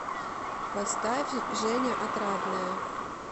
поставь женя отрадная